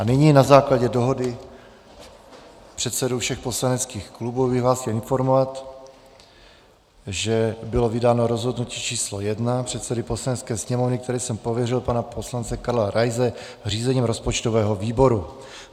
A nyní na základě dohody předsedů všech poslaneckých klubů bych vás chtěl informovat, že bylo vydáno rozhodnutí číslo 1 předsedy Poslanecké sněmovny, kterým jsem pověřil pana poslance Karla Raise řízením rozpočtového výboru.